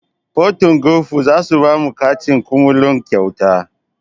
Porto golf zasu bamu katin kumallo kyauta